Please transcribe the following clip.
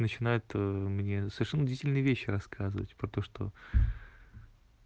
начинает ээ мне совершенно удивительные вещи рассказывать про то что